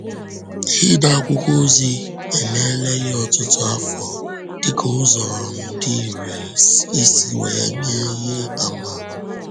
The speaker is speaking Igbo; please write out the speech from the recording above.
Ide akwụkwọ ozi emeela ihe ọtụtụ afọ dịka ụzọ um dị irè isi um wee nye ihe àmà.